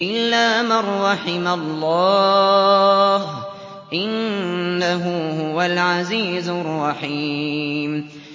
إِلَّا مَن رَّحِمَ اللَّهُ ۚ إِنَّهُ هُوَ الْعَزِيزُ الرَّحِيمُ